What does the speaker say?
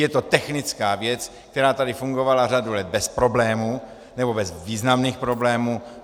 Je to technická věc, která tady fungovala řadu let bez problémů, nebo bez významných problémů.